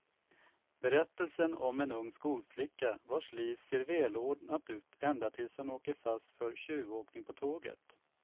Berättelsen om en ung skolflicka vars liv ser välordnat ut ända tills hon åker fast för tjuvåkning på tåget.